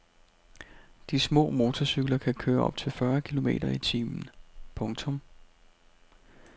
De små motorcykler kan køre op til fyrre kilometer i timen. punktum